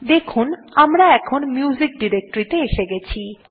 এখন দেখুন আমরা মিউজিক ডিরেক্টরী তে এসে গেছি